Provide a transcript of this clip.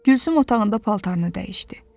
Gülsüm otağında paltarını dəyişdi.